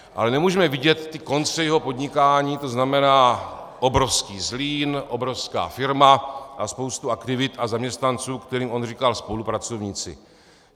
Ale nemůžeme vidět ty konce jeho podnikání, to znamená obrovský Zlín, obrovská firma a spoustu aktivit a zaměstnanců, kterým on říká spolupracovníci.